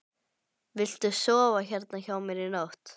Viltu sofa hérna hjá mér í nótt?